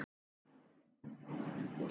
Dóri átti gott líf.